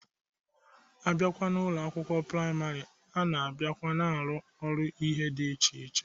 A bịa n'Ụlọ akwụkwọ praịmarị, a na-abiakwa na-arụ ọrụ ihe dị iche iche.